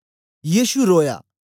यीशु रोया